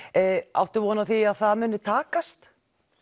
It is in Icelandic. áttu von á því að það muni takast